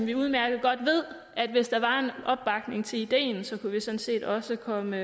jo udmærket godt at hvis der var en opbakning til ideen så kunne vi sådan set også komme